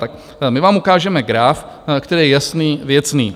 Tak my vám ukážeme graf, který je jasný, věcný.